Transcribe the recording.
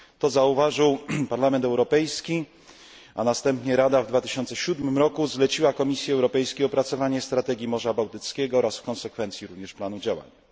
To zauważył Parlament Europejski, a następnie Rada, w 2007 roku, zleciła Komisji Europejskiej opracowanie strategii Morza Bałtyckiego oraz, w konsekwencji również planu działania.